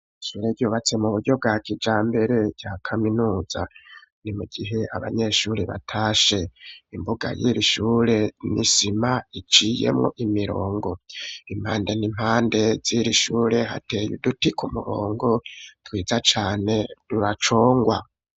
Ishure ryubatse, mu buryo bwa kijambere, rya kaminuza; ni mu gihe, abanyeshure batashe; imbuga y'irishure, ni isima iciyemwo imirongo; impande n'impande z'iri shure, hateye uduti ku murongo, twiza cane, turacongwa.